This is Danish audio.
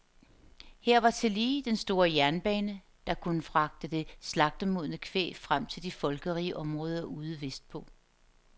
Her var tillige den store jernbane, der kunne fragte det slagtemodne kvæg frem til de folkerige områder ude vestpå.